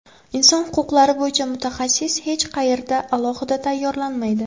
Inson huquqlari bo‘yicha mutaxassis hech qayerda alohida tayyorlanmaydi.